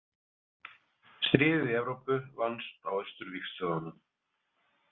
Stríðið í Evrópu vannst á austurvígstöðvunum.